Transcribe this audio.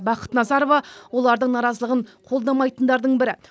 бақыт назарова олардың наразылығын қолдамайтындардың бірі